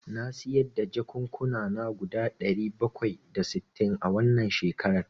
Na sayar da jakukkuna guda ɗari bakwai da sittin a wannan shekaran.